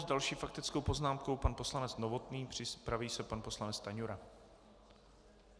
S další faktickou poznámkou pan poslanec Novotný, připraví se pan poslanec Stanjura.